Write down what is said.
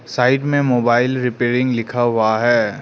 Side में mobile repairing लिखा हुआ है।